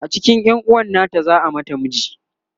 a cikin yanuwan nata za'a mata miji